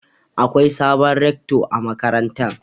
Akwai sabon Rekto a makarantar.